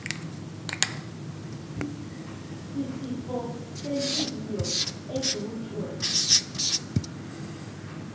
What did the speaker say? sisifo sentliziyo edutywe